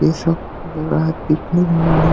ये सब लग रहा पिकनिक माने--